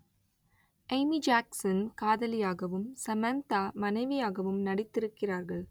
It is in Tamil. எமி ஜாக்சன் காதலியாகவும் சமந்தா மனைவியாகவும் நடித்திருக்கிறார்கள்